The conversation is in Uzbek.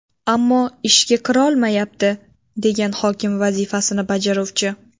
Ammo ishga kirolmayapti”, degan hokim vazifasini bajaruvchi.